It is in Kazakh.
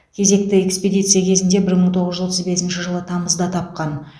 кезекті экспедиция кезінде бір мың тоғыз жүз отыз бесінші жылы тамызда тапқан